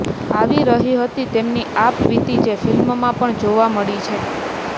આવી રહી હતી તેમની આપવીતી જે ફિલ્મમાં પણ જોવા મળી છે